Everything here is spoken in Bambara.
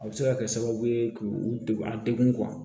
A bɛ se ka kɛ sababu ye k'u degun a degun